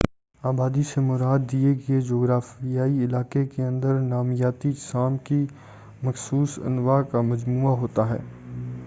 آبادی سے مراد دیے گئے جغرافیائی علاقے کے اندر نامیاتی اجسام کی مخصوص انواع کا مجموعہ ہوتا ہے